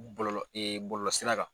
Bɔlɔlɔ bɔlɔlɔ sira kan.